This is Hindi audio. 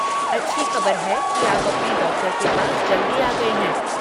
अच्छी खबर है कि आप अपने डॉक्टर के पास जल्दी आ गए हैं।